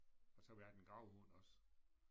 Og så har vi haft en gravhund også